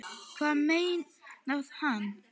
Hvað meinar hann?